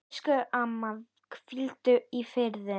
Elsku amma, hvíldu í friði.